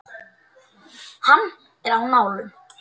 Hann er á nálum.